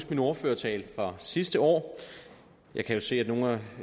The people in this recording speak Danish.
min ordførertale fra sidste år jeg kan jo se at nogle